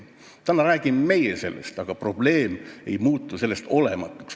Täna räägime meie sellest, aga probleem ei muutu sellest olematuks.